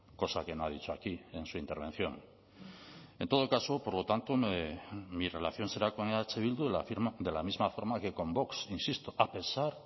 cosa que no ha dicho aquí en su intervención en todo caso por lo tanto mi relación será con eh bildu de la misma forma que con vox insisto a pesar